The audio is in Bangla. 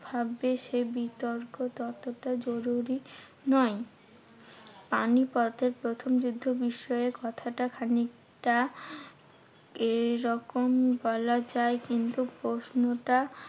ভাববে সে বিতর্ক ততটাই জরুরি নয়। পানিপথের প্রথম যুদ্ধ বিষয়ে কথাটা খানিকটা এইরকম বলা যায়। কিন্তু প্রশ্নটা